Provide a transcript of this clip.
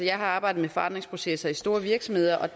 jeg har arbejdet med forandringsprocesser i store virksomheder og